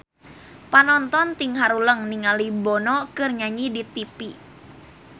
Panonton ting haruleng ningali Bono keur nyanyi di tipi